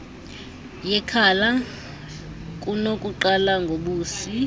yekhala kunokuqala ngobusi